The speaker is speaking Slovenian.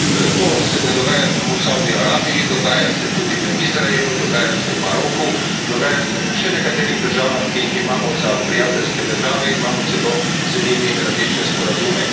To se ne dogaja samo v Savdski Arabiji, dogaja se tudi v Izraelu, dogaja se v Maroku, dogaja se v še nekaterih državah, ki jih imamo za prijateljske države in imamo celo z njimi različne sporazume.